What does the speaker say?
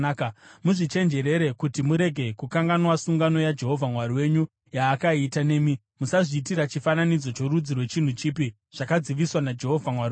Muzvichenjerere kuti murege kukanganwa sungano yaJehovha Mwari wenyu yaakaita nemi; musazviitira chifananidzo chorudzi rwechinhu chipi zvakadziviswa naJehovha Mwari wenyu.